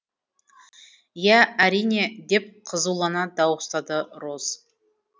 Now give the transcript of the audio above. иә әрине деп қызулана дауыстады роз